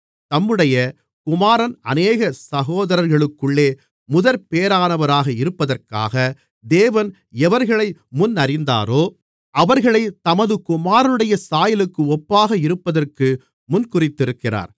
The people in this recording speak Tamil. தம்முடைய குமாரன் அநேக சகோதரர்களுக்குள்ளே முதற்பேறானவராக இருப்பதற்காக தேவன் எவர்களை முன்னறிந்தாரோ அவர்களைத் தமது குமாரனுடைய சாயலுக்கு ஒப்பாக இருப்பதற்கு முன்குறித்திருக்கிறார்